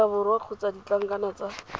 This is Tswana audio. aforika borwa kgotsa ditlankana tsa